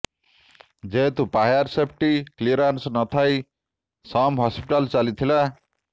ଯେହେତୁ fire safety clearance ନଥାଇ SUM hospital ଚାଲିଥିଲା